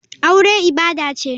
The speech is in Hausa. Aure ibada ce.